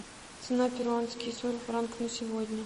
цена перуанский соль франк на сегодня